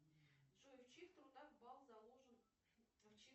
джой в чьих трудах бал заложен